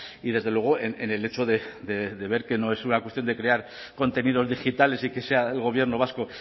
y desde luego en el hecho de ver que no es una cuestión de crear contenidos digitales y que sea el gobierno vasco